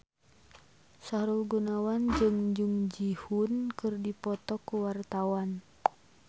Sahrul Gunawan jeung Jung Ji Hoon keur dipoto ku wartawan